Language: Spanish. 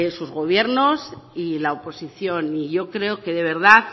sus gobiernos y la oposición y yo creo que de verdad